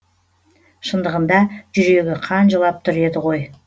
шындығында жүрегі қан жылап тұр еді ғой